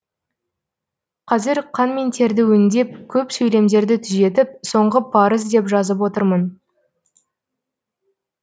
қазір қан мен терді өңдеп көп сөйлемдерді түзетіп соңғы парыз деп жазып отырмын